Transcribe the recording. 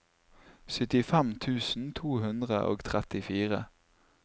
syttifem tusen to hundre og trettifire